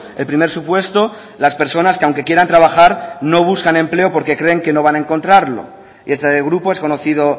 el primer supuesto las personas que aunque quieran trabajar no buscan empleo porque creen que no van a encontrarlo y eso grupo es conocido